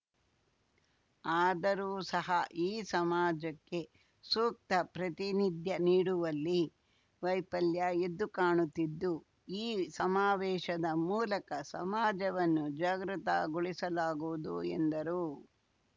ಅದರೂ ಸಹ ಈ ಸಮಾಜಕ್ಕೆ ಸೂಕ್ತ ಪ್ರತಿನಿಧ್ಯ ನೀಡುವಲ್ಲಿ ವೈಫಲ್ಯ ಎದ್ದು ಕಾಣುತ್ತಿದ್ದು ಈ ಸಮಾವೇಶದ ಮೂಲಕ ಸಮಾಜವನ್ನು ಜಾಗೃತಗೊಳಿಸಲಾಗುವುದು ಎಂದರು